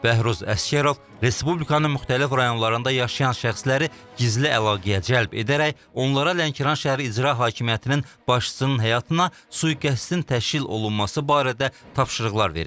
Bəhruz Əsgərov respublikanın müxtəlif rayonlarında yaşayan şəxsləri gizli əlaqəyə cəlb edərək, onlara Lənkəran şəhər İcra Hakimiyyətinin başçısının həyatına sui-qəsdin təşkil olunması barədə tapşırıqlar verib.